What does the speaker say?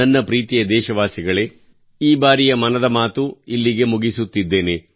ನನ್ನ ಪ್ರೀತಿಯ ದೇಶವಾಸಿಗಳೇ ಈ ಬಾರಿಯ ಮನದ ಮಾತು ಇಲ್ಲಿಗೆ ಮುಗಿಸುತ್ತಿದ್ದೇನೆ